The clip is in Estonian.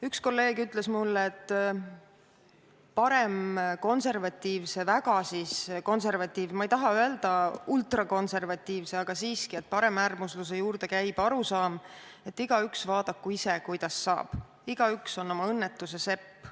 Üks kolleeg ütles mulle, et paremkonservatiivse, väga konservatiivse – ma ei taha öelda "ultrakonservatiivse", aga siiski – paremäärmusluse juurde käib arusaam, et igaüks vaadaku ise, kuidas saab, igaüks on oma õnnetuse sepp.